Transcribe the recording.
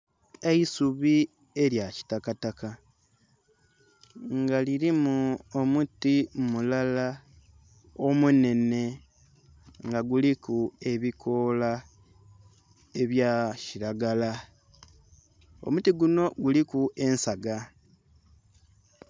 Eisubi elya kitakataka nga lilimu omuti mulala omunhenhe nga guliku ebikoola ebya kilagala, omutigunho guliku ensaga.